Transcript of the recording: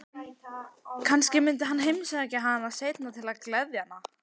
Kannski myndi hann heimsækja hana seinna til að gleðja hana.